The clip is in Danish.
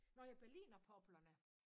Nåh ja berlinerpoplerne